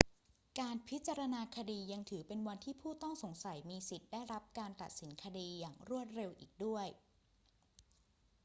การพิจารณาคดียังถือเป็นวันที่ผู้ต้องสงสัยมีสิทธิ์ได้รับการตัดสินคดีอย่างรวดเร็วอีกด้วย